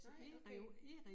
Nej okay